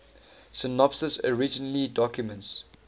synopses originally documents